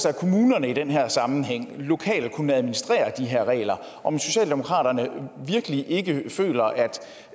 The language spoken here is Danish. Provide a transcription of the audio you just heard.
at kommunerne i den her sammenhæng lokalt kunne administrere de her regler og om socialdemokratiet virkelig ikke føler